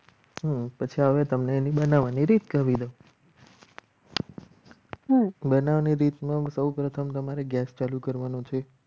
પછી હવે તમને એની બનાવવાની રીત કરી દઉં બનાવાની રીત સૌપ્રથમ તમારે gas ચાલુ કરવાનો છે.